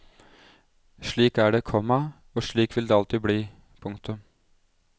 Slik er det, komma og slik vil det alltid bli. punktum